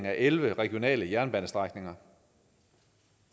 af elleve regionale jernbanestrækninger